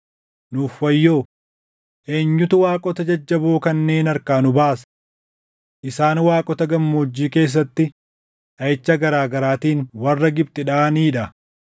Nuuf wayyoo! Eenyutu waaqota jajjaboo kanneen harkaa nu baasa? Isaan waaqota gammoojjii keessatti dhaʼicha garaa garaatiin warra Gibxi dhaʼanii dha.